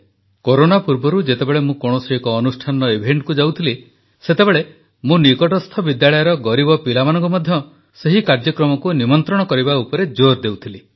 corona ପୂର୍ବରୁ ଯେତେବେଳେ ମୁଁ କୌଣସି ଏକ ଅନୁଷ୍ଠାନର ଇଭେଂଟକୁ ଯାଉଥିଲି ସେତେବେଳେ ମୁଁ ନିକଟସ୍ଥ ବିଦ୍ୟାଳୟର ଗରିବ ପିଲାମାନଙ୍କୁ ମଧ୍ୟ ସେହି କାର୍ଯ୍ୟକ୍ରମକୁ ନିମନ୍ତ୍ରଣ କରିବା ଉପରେ ଜୋର ଦେଉଥିଲି